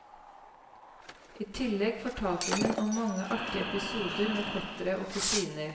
I tillegg fortalte hun om mange artige episoder med fettere og kusiner.